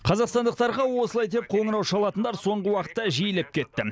қазақстандықтарға осылай деп қоңырау шалатындар соңғы уақытта жиілеп кетті